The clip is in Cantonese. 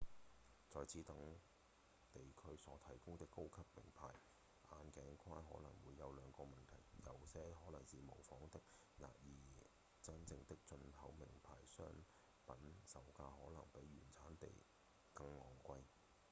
在此等地區所提供的高級名牌眼鏡框可能會有兩個問題；有些可能是仿冒品而真正的進口名牌商品售價可能比原產地更昂貴